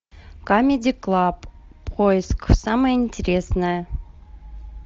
камеди клаб поиск самое интересное